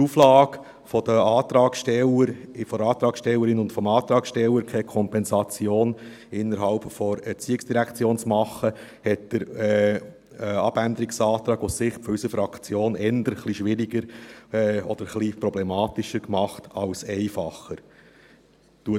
Die Auflage des Antragstellers und der Antragstellerin, keine Kompensation innerhalb der ERZ vorzunehmen, hat den Abänderungsantrag aus Sicht unserer Fraktion eher schwieriger oder problematischer als einfacher gemacht.